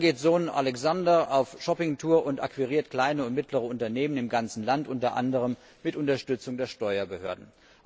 Und dann geht Sohn Alexander auf Shoppingtour und akquiriert kleine und mittlere Unternehmen im ganzen Land, unter anderem mit Unterstützung der Steuerbehörden.